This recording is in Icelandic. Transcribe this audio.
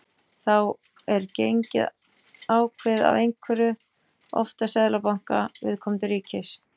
Þá er gengið ákveðið af einhverjum, oftast seðlabanka viðkomandi ríkis.